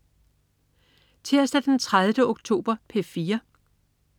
Tirsdag den 30. oktober - P4: